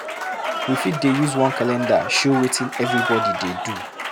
We fit dey use one calendar show wetin everybody dey do.